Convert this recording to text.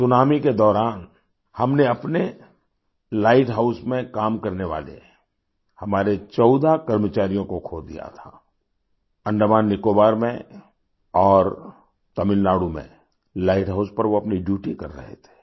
tsunami के दौरान हमने अपने लाइट हाउस में काम करने वाले हमारे14 कर्मचारियों को खो दिया था अंडमान निकोबार में और तमिलनाडु में लाइट हाउस पर वो अपनी ड्यूटी कर रहे थे